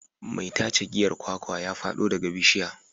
Mai tace giyar kwakwa ya fado daga bishiya.